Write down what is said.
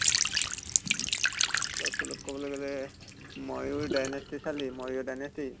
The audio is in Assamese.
অলপ চলপ কবলে গʼলে ময়ূৰ dynasty চালি ময়ূৰ dynasty?